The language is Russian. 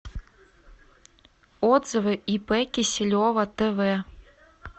отзывы ип киселева тв